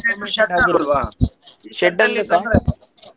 Shed ಆಗೋದಲ್ವ .